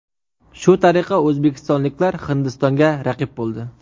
Shu tariqa o‘zbekistonliklar Hindistonga raqib bo‘ldi.